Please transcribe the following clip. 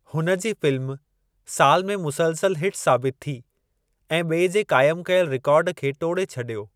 हुन जी फ़िल्म साल में मुसलसल हिट साबित थी ऐं बि॒ए जे क़ाइमु कयल रिकॉर्ड खे टोड़े छडि॒यो।